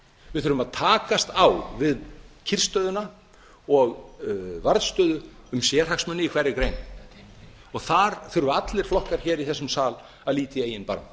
við þurfum að takast á við kyrrstöðuna og varðstöðu um sérhagsmuni í hverri grein og þar þurfa allir flokkar í þessum sal að líta í eigin barm